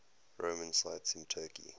roman sites in turkey